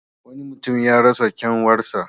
Wani mutum ya rasa kyanwarsa.